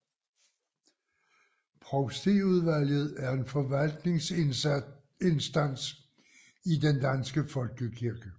Provstiudvalget er en forvaltningsinstans i den danske folkekirke